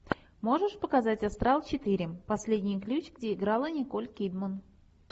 можешь показать астрал четыре последний ключ где играла николь кидман